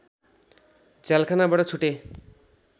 झ्यालखानाबाट छुटे